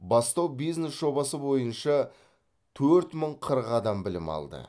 бастау бизнес жобасы бойынша төрт мың қырық адам білім алды